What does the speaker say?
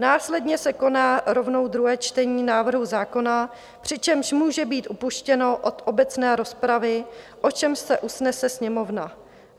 Následně se koná rovnou druhé čtení návrhu zákona, přičemž může být upuštěno od obecné rozpravy, o čemž se usnese Sněmovna.